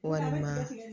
Walima